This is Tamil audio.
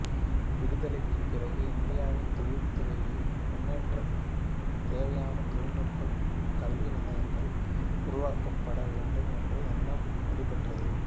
விடுதலைக்குப் பிறகு இந்தியாவின் தொழில்துறையை முன்னேற்ற தேவையான தொழில்நுட்ப கல்விநிலையங்கள் உருவாக்கப்பட வேண்டும் என்ற எண்ணம் வலுப்பெற்றது